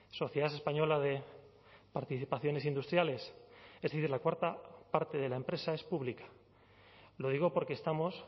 sociedad española de participaciones industriales es decir la cuarta parte de la empresa es pública lo digo porque estamos